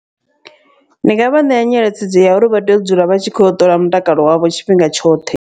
Ndi nga vha ṋea nyeletshedzo ya uri vha tea u dzula vha tshi khou yo u ṱola mutakalo wavho tshifhinga tshoṱhe.